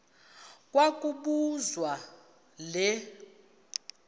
kwa kobuzwa le